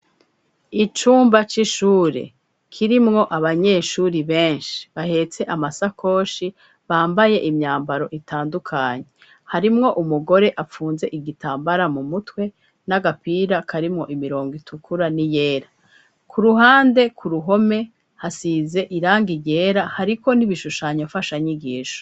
Icumba c'ishure kirimwo abanyeshuri benshi bahetse amasakoshi, bambaye imyambaro itandukanye. Harimwo umugore apfunze igitambara mu mutwe, n'agapira karimwo imirongo itukura n'iyera. K'uruhande k'uruhome, hasize irangi ryera hariko n'ibishushanyo mfashanyigisho.